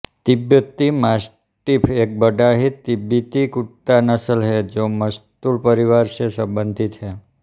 तिब्बती मास्टिफ़ एक बड़ा तिब्बती कुत्ता नस्ल है जो मस्तूल परिवार से संबंधित है